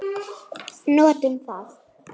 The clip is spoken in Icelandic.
Notum það.